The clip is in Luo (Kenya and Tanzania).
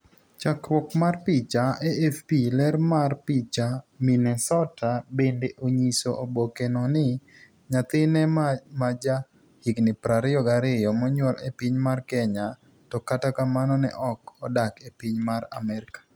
Chakruok mar picha, AFP. Ler mar picha, Minnesota Bende onyiso oboke no ni nyathine ma maja higni 22 monyuol e piny mar Kenya , to kata kamano, ne ok odak e piny mar Amerka.